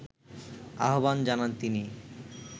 আহ্বান জানান তিনি